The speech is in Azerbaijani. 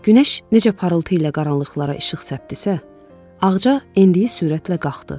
Günəş necə parıltı ilə qaranlıqlara işıq səpdissə, ağca endiyi sürətlə qalxdı.